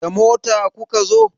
Da mota kuka zo?